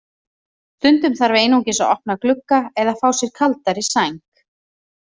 Stundum þarf einungis að opna glugga eða fá sér kaldari sæng.